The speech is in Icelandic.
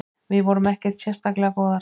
Við vorum ekkert sérstaklega góðar.